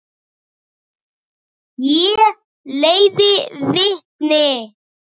Ég leiði vitni.